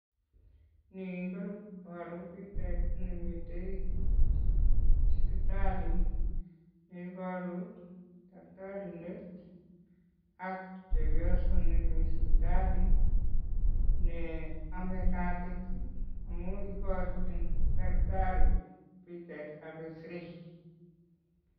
Ni koboru pichait nemiten sipitali neiboru takitarindet ak chepioso nemi sipitali neome katit amun iborchin takitari pichaitab xray.